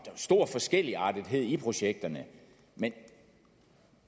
stor forskelligartethed i projekterne men